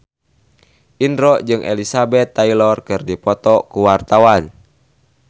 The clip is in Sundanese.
Indro jeung Elizabeth Taylor keur dipoto ku wartawan